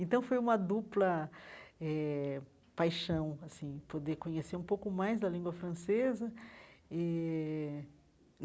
Então, foi uma dupla eh paixão assim poder conhecer um pouco mais da língua francesa eh.